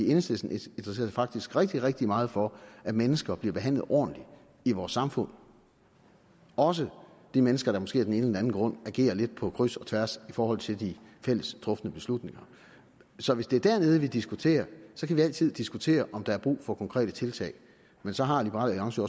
interesserer sig faktisk rigtig rigtig meget for at mennesker bliver behandlet ordentligt i vores samfund også de mennesker der måske af den ene eller den anden grund agerer lidt på kryds og tværs i forhold til de fælles trufne beslutninger så hvis det er der nede vi diskuterer kan vi altid diskutere om der er brug for konkrete tiltag men så har liberal alliance